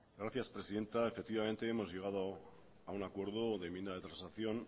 gracias presidenta efectivamente hemos llegado a un acuerdo de enmienda de transacción